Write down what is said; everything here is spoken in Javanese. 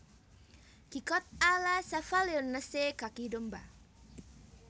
Gigot a la Cavaillonnaise kaki domba